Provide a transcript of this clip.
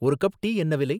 ஒரு cup tea என்ன விலை?